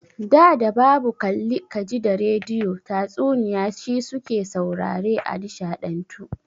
Da da babu kalli ka ji da rediyo, tatsuniya shi su ke saurare a nishaɗantu.